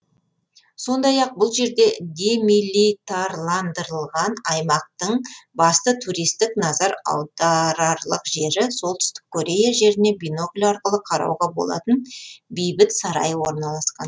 сондай ақ бұл жерде демилитарландырылған аймақтың басты туристтік назар аударарлық жері солтүстік корея жеріне бинокль арқылы қарауға болатын бейбіт сарайы орналасқан